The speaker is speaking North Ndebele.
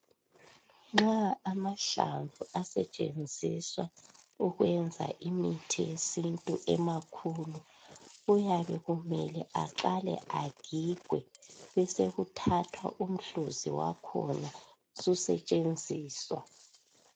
Nxa amahlamvu asetshenziswa ukwenza imithi yesintu emakhulu kuyabe kumele aqake agigwe besokuthathwa umhluzi wakhona susetshenziswa